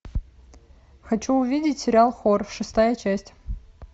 хочу увидеть сериал хор шестая часть